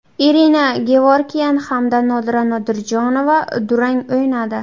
Irina Gevorkyan hamda Nodira Nodirjonova durang o‘ynadi.